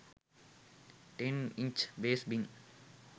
10 inch bass bin